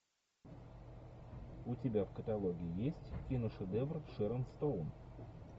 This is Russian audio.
у тебя в каталоге есть киношедевр шэрон стоун